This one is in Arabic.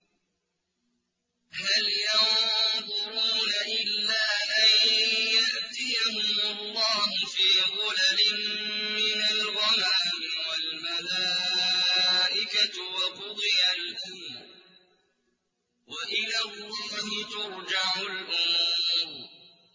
هَلْ يَنظُرُونَ إِلَّا أَن يَأْتِيَهُمُ اللَّهُ فِي ظُلَلٍ مِّنَ الْغَمَامِ وَالْمَلَائِكَةُ وَقُضِيَ الْأَمْرُ ۚ وَإِلَى اللَّهِ تُرْجَعُ الْأُمُورُ